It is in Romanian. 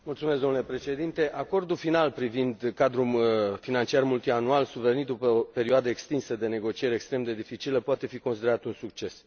Domnule președinte, acordul final privind cadrul financiar multianual, survenit după o perioadă extinsă de negocieri, extrem de dificilă, poate fi considerat un succes.